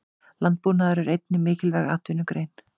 Landbúnaður er einnig mikilvæg atvinnugrein.